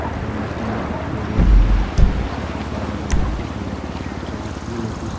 dikai na se bitor dae manu kan reception kura manu kan bi buina tiki ba ase aro kiki notice .